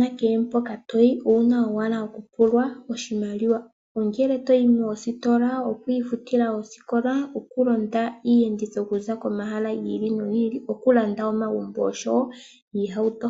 na kehe mpka toyi owuna ashike okupulwa oshimaliwa. Ongele toyi moositola, oku futa oosikola, okulonda iiyenditho okuza komahala gi ili nogi ili, okulanda omagumbo oshowo iihauto.